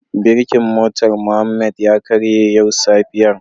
Birkin motar Muhammad ya karye yau safiyar.